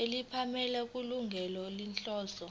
nemiphumela kulungele inhloso